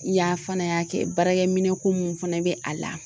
Y'a fana y'a kɛ baarakɛ minɛ ko mun fana bɛ a la